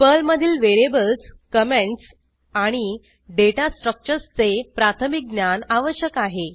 पर्लमधील variables comments आणि data स्ट्रक्चर्सचे प्राथमिक ज्ञान आवश्यक आहे